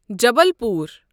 Jabalpur